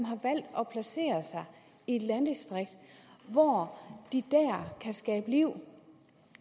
i et landdistrikt hvor de kan skabe liv og